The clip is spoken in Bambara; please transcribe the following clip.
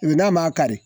N'a ma kari